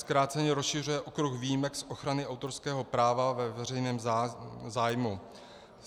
Zkráceně, rozšiřuje okruh výjimek z ochrany autorského práva ve veřejném zájmu.